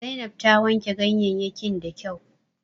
Zainab ta wanke ganyeyyakin da kyau